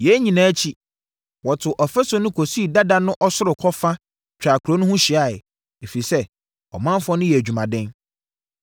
Yei nyinaa akyi, wɔtoo ɔfasuo no kɔsii dada no ɔsorokɔ fa twaa kuro no ho hyiaeɛ, ɛfiri sɛ, ɔmanfoɔ no yɛɛ adwumaden.